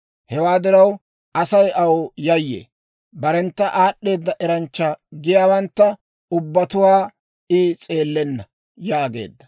Hewaa diraw, Asay aw yayyee; barentta aad'd'eeda eranchcha giyaawantta ubbatuwaa I s'eelenna» yaageedda.